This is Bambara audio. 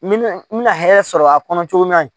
Min bɛna hɛrɛ sɔrɔ a kɔnɔ cogo min na yen